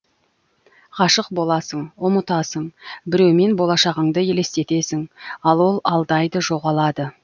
ғашық боласың ұмытасың біреумен болашағыңды елестетесің ал ол алдайды жоғалады